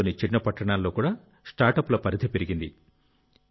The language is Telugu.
దేశంలోని చిన్న పట్టణాల్లో కూడా స్టార్టప్ల పరిధి పెరిగింది